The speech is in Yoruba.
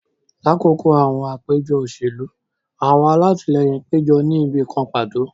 Lakoko awọn apejọ oselu, awọn alatilẹyin pejọ ni ibi kan pato